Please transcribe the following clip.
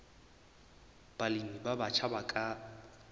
balemi ba batjha ba ka